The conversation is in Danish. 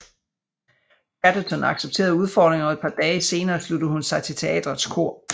Chatterton accepterede udfordringen og et par dage senere sluttede hun sig til teaterets kor